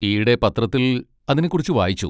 ഈയിടെ പത്രത്തിൽ അതിനെക്കുറിച്ച് വായിച്ചു.